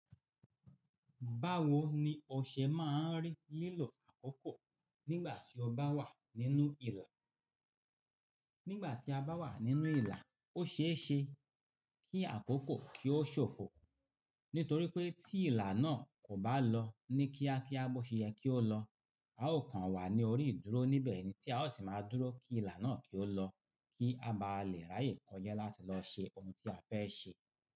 Báwo ni ọṣẹ máa ń rí lílọ àkókò nígbà tí o bá wà nínú ìlà? Nígbà tí a bá wà nínú ìlà, ó ṣeéṣe kí àkókò kí ó ṣòfò, nítorí pé tí ìlà náà kò bá lọ ní kíákíá bó ṣe yẹ kí ó lọ, a ó kan wà ní orí ìdúró níbẹ̀ ni tí a ó sì máa dúró kí ìlà náà kí ó lọ kí a bá lè ráyè kọjá láti lọ ṣe oun tí a fẹ́ ṣe.